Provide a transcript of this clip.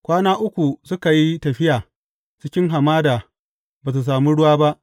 Kwana uku suka yi tafiya cikin hamada ba su sami ruwa ba.